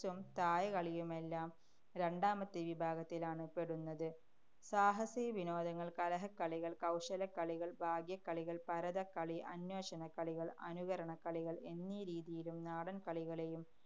Chess ഉം തായകളിയുമെല്ലാം രണ്ടാമത്തെ വിഭാഗത്തിലാണ് പെടുന്നത്. സാഹസവിനോദങ്ങള്‍, കലഹക്കളികള്‍, കൗശലക്കളികള്‍, ഭാഗ്യക്കളികള്‍, പരതക്കളി, അന്വേഷണക്കളികള്‍, അനുകരണക്കളികള്‍ എന്നീ രീതിയിലും നാടന്‍ കളികളെയും